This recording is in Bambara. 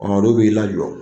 olu b'i lajɔ